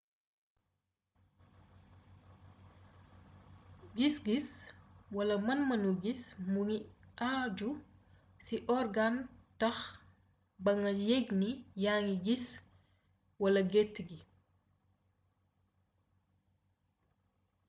gis-gis wala man-manu gis mu ngi àju ci orgaan tax ba nga yëgg ni yaa ngi gis wala gët yi